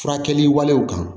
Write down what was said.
Furakɛli walew kan